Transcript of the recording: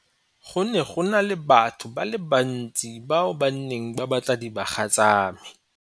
Go ne go na le batho ba le bantsi bao ba neng ba batla dibaga tsa me.